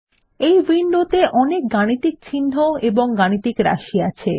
এই উইন্ডোত়ে অনেক গাণিতিক চিন্হ এবং গাণিতিক রাশি আছে